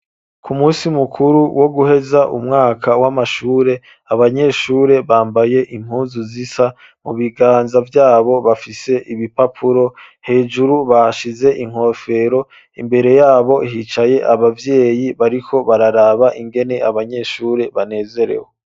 Ku munsi mukuru wo guheza umwaka w'amashure abanyeshure bambaye impuzu zisa mu biganza vyabo bafise ibipapuro hejuru bashize inkofero imbere yabo hicaye ababyeyi bariko bararaba ingene abanyeshure banezerewe.